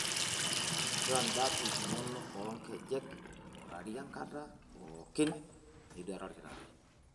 Nchoo ndapi inono oo nkejek eing'urari enkata pookin niduare olkitarri.